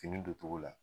Fini don cogo la